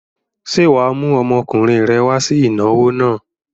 Ṣé wà á mú ọmọkùnrin rẹ wá sí ìnáwó náà?